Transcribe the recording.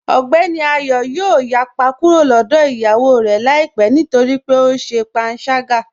Ogbẹ́ni Ayọ̀ yoo yàpá kúrò lọ́dọ̀ iyáwó rẹ laipẹ̀ nítorí pé ọ ṣè pànságá